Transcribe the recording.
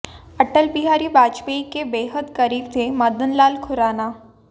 अटल बिहारी वाजपेयी के बेहद करीब थे मदनलाल खुराना